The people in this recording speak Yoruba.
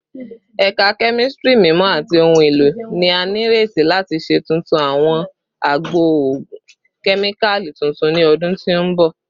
Ẹka Kemistri Mimọ ati Ohun elo ni a nireti lati ṣe tuntun awọn agbo ogun kemikali tuntun ni ọdun ti n bọ